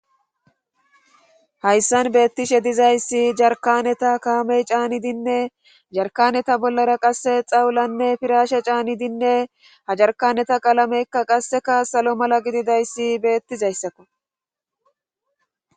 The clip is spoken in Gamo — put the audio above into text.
Hayssan beettishe dizayssi jarkkaneta kaamey caaniddi ne yarkkanera bollara qasse xawlanne piraashe caanidinne ha jarkkaneta qalameykka qasseka salo mala gididayssi beetizayssako